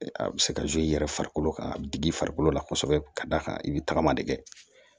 A bɛ se ka i yɛrɛ farikolo ka digi farikolo la kosɛbɛ ka d'a kan i bɛ tagama de kɛ